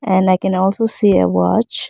and i can also see a watch.